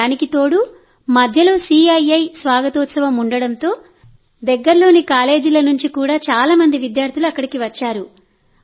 దానికి తోడు మధ్యలో సీఐఐ స్వాగతోత్సవం ఉండడంతో దగ్గర్లోని కాలేజీల నుంచి కూడా చాలా మంది విద్యార్థులు అక్కడికి వచ్చారు